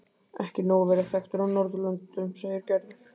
Ekki nóg að vera þekktur á Norðurlöndum segir Gerður.